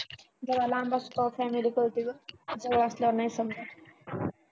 जरा लांब असल्यावर family कळते ग जवळ असल्यावर नाही समजत.